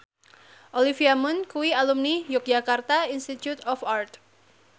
Olivia Munn kuwi alumni Yogyakarta Institute of Art